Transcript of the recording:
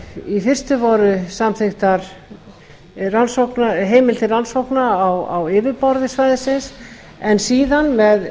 í fyrstu var samþykkt heimild til rannsókna á yfirborði svæðisins en síðan